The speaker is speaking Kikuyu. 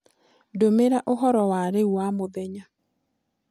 ndũmĩra ũhoro wa rĩũ wa mũthenya